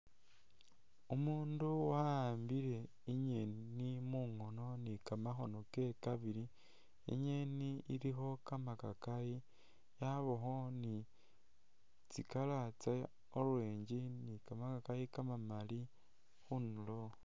Umundu wa'ambile i'nyeni mungono ni kamakhono kewe kabili, i'nyeni ilikho kamakakayi yabakho ni tsi'color tsa orange ni kamakakayi kamamaali khundulo